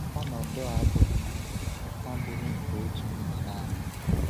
Ọnọdụ a abụghị a abụghị nke otu mba naanị.